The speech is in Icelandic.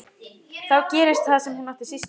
Þá gerist það sem hún átti síst von á.